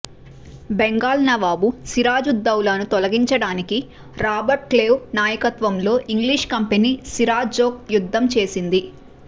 బెంగాల్ నవాబ్ సిరాజుద్దౌలాను తొలగించడానికి రాబర్ట్క్లైవ్ నాయకత్వంలో ఇంగ్లీష్ కంపెనీ సిరాజ్తో యుద్ధం చేసింది